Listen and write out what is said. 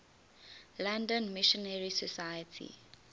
london missionary society